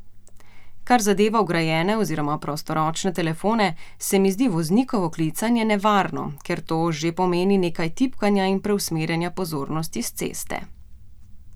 Kar zadeva vgrajene oziroma prostoročne telefone, se mi zdi voznikovo klicanje nevarno, ker to že pomeni nekaj tipkanja in preusmerjanja pozornosti s ceste.